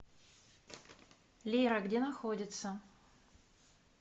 лера где находится